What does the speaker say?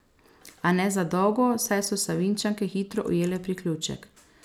A ne za dolgo, saj so Savinjčanke hitro ujele priključek.